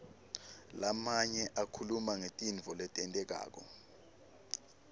lamanye akhuluma ngetintfo letentekako